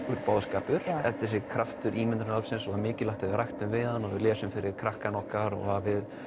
boðskapur en þessi kraftur ímyndunaraflsins mikilvægt að við leggjum rækt við hann og lesum fyrir krakkana okkar og